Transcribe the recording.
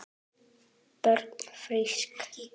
Börnin frísk.